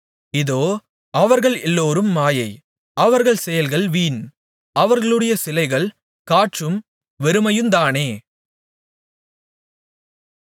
இதோ அவர்கள் எல்லோரும் மாயை அவர்கள் செயல்கள் வீண் அவர்களுடைய சிலைகள் காற்றும் வெறுமையுந்தானே